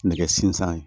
Nɛgɛ sinzan ye